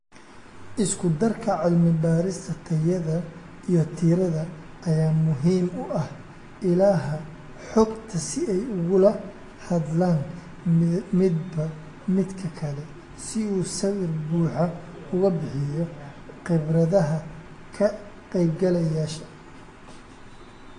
Isku darka cilmi baarista tayada iyo tirada ayaa muhiim u ah ilaha xogta si ay ugula hadlaan midba midka kale si uu sawir buuxa uga bixiyo khibradaha ka qaybgalayaasha.